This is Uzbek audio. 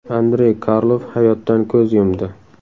Andrey Karlov hayotdan ko‘z yumdi.